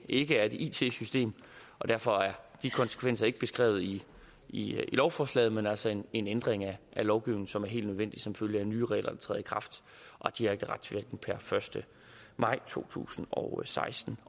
ikke er et it system og derfor er de konsekvenser ikke beskrevet i i lovforslaget men altså en en ændring af lovgivningen som er helt nødvendig som følge af nye regler der træder i kraft per første maj to tusind og seksten